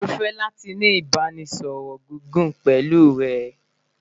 Mo fẹ lati ni ibaraẹnisọrọ gigun pẹlu rẹ